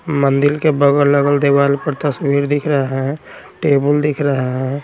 मंदिर के बगल-अगल दीवाल पर तस्वीर दिख रहा हैं टेबल दिख रहा हैं।